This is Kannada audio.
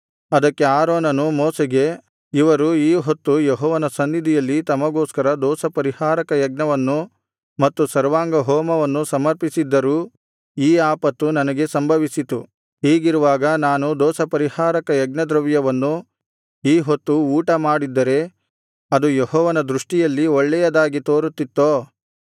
ಅದಕ್ಕೆ ಆರೋನನು ಮೋಶೆಗೆ ಇವರು ಈ ಹೊತ್ತು ಯೆಹೋವನ ಸನ್ನಿಧಿಯಲ್ಲಿ ತಮಗೋಸ್ಕರ ದೋಷಪರಿಹಾರಕ ಯಜ್ಞವನ್ನು ಮತ್ತು ಸರ್ವಾಂಗಹೋಮವನ್ನು ಸಮರ್ಪಿಸಿದ್ದರೂ ಈ ಆಪತ್ತು ನನಗೆ ಸಂಭವಿಸಿತು ಹೀಗಿರುವಾಗ ನಾನು ದೋಷಪರಿಹಾರಕ ಯಜ್ಞದ್ರವ್ಯವನ್ನು ಈ ಹೊತ್ತು ಊಟಮಾಡಿದ್ದರೆ ಅದು ಯೆಹೋವನ ದೃಷ್ಟಿಯಲ್ಲಿ ಒಳ್ಳೆಯದಾಗಿ ತೋರುತ್ತಿತ್ತೋ